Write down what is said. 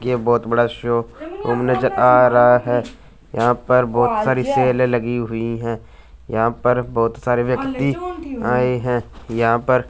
ये बहोत बड़ा शो रूम नज़र आ रहा हैं यहां पर बोहोत सारी सेल लगी हुई हैं यहां पर बहोत सारे व्यक्ति आए है। यहां पर --